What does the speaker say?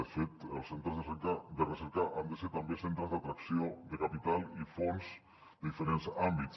de fet els centres de recerca han de ser també centres d’atracció de capital i fons de diferents àmbits